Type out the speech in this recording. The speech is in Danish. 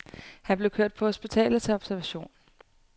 Han blev kørt på hospitalet til observation.